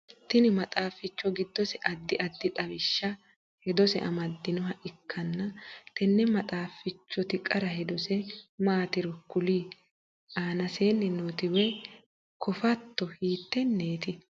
Tinni maxaaficho gidose addi addi xawishanna hedose amadinoha ikanna tenne maxaafichoti qara hedose maatiro kuli? Aannaseenni nooti woyi kofatto hiiteneeti?